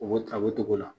O ta o togo la